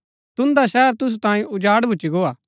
हेरा तुन्दा शहर तुसु तांयें उजाड़ भूच्ची गोआ